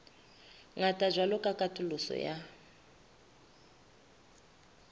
ngata jwalo ka katoloso ya